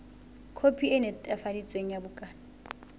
khopi e netefaditsweng ya bukana